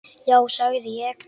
Já sagði ég.